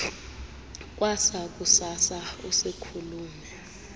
kwasa kusasa usiikhulume